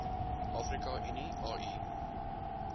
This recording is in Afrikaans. afrika unie au